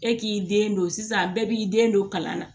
E k'i den don sisan bɛɛ b'i den don kalan na